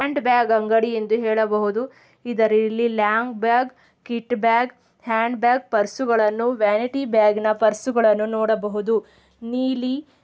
handbag ಅಂಗಡಿಯಂದು ಹೇಳಬಹುದು ಇದರಲ್ಲಿ ಲಾಂಗ್ಬ್ಯಾಗ್ ಕಿಟ್ಬ್ಯಾಗ್ ಹ್ಯಾಂಡ್‌ ಪರ್ಸ್ಸುಗಳನು ನೋಡಬಹುದು ನೀಲಿ--